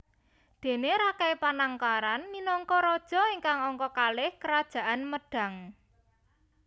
Déne Rakai Panangkaran minangka raja ingkang angka kalih Kerajaan Medang